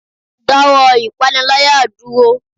da wọ ìpáníláyá durọ!